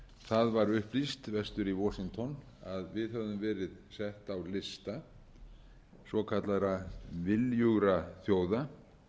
það var upplýst vestur í washington að við hefðum meira sett á lista svokallaðra viljugra þjóða